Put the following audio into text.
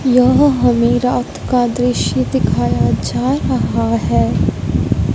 यह हमें रात का दृश्य दिखाया जा रहा हैं।